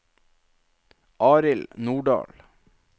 Arild Nordahl